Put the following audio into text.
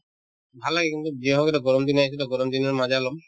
ভাল লাগে কিন্তু যিহওক এতিয়া গৰম দিন আহিছেতো গৰম দিনৰ